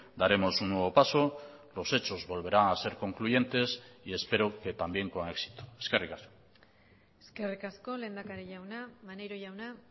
daremos un nuevo paso los hechos volverán a ser concluyentes y espero que también con éxito eskerrik asko eskerrik asko lehendakari jauna maneiro jauna